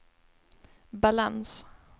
balans